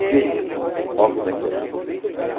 Djei O Di dJei, Ou Olha como é que é louco. Ãh